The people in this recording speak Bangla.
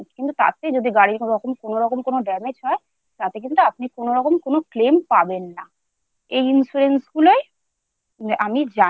কিন্তু তাতে যদি গাড়ি কোন রকম কোনও রকম কোনও Damage হয় তাতে কিন্তু আপনি কোনো রকম কোনও Claim পাবেন না। এই insurance গুলিই আমি জানি